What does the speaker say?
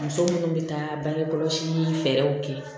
Muso minnu bɛ taa bange kɔlɔsi fɛɛrɛw kɛ